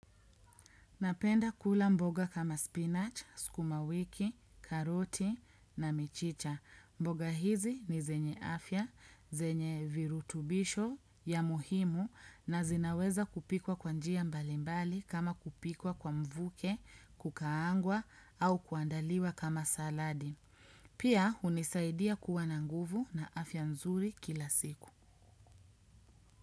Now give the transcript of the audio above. Napenda kula mboga kama spinach, skumawiki, karoti na michicha. Mboga hizi ni zenye afya, zenye virutubisho ya muhimu na zinaweza kupikwa kwanjia mbalimbali kama kupikwa kwa mvuke, kukaangwa au kuandaliwa kama saladi. Pia hunisaidia kuwa na nguvu na afya nzuri kila siku.